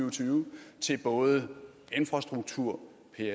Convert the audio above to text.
og tyve til både infrastruktur